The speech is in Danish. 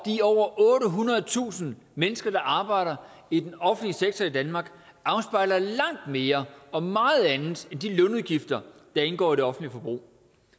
de over ottehundredetusind mennesker der arbejder i den offentlige sektor i danmark afspejler langt mere og meget andet end de lønudgifter der indgår i det offentlige forbrug